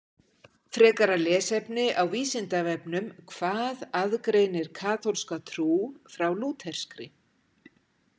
Frekara lesefni á Vísindavefnum Hvað aðgreinir kaþólska trú frá lúterskri?